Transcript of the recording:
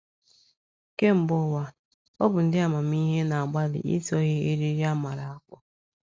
Kemgbe ụwa, ọ bụ ndị amamihe na - agbalị ịtọghe eriri a mara akpụ.